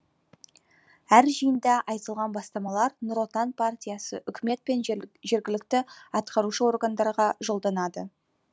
әр жиында айтылған бастамалар нұр отан партиясы үкімет пен жергілікті атқарушы органдарға жолданады